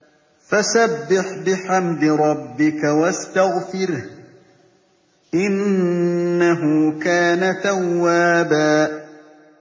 فَسَبِّحْ بِحَمْدِ رَبِّكَ وَاسْتَغْفِرْهُ ۚ إِنَّهُ كَانَ تَوَّابًا